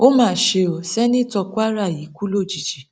ó mà ṣe ó sènítọ kwara yìí kú lójijì